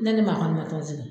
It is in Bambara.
Ne ni maa kɔni man tɔn zigi